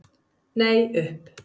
Nei, upp.